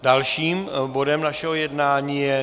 Dalším bodem našeho jednání je